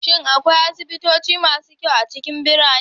Shin akwai asibitoci masu kyau a cikin birane?